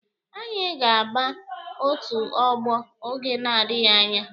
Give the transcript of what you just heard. Anyị ga-aba otu ọgbọ oge na-adịghi anya.